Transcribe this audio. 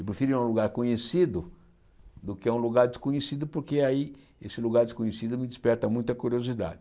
Eu prefiro ir a um lugar conhecido do que a um lugar desconhecido, porque aí esse lugar desconhecido me desperta muita curiosidade.